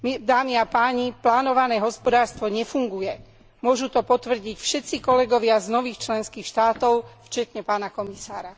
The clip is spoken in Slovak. Dámy a páni, plánované hospodárstvo nefunguje, môžu to potvrdiť všetci kolegovia z nových členských štátov vrátane pána komisára.